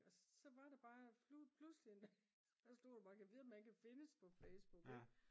så var det bare pludselig en dag så slog det mig gad vide om han kan findes på Facebook ik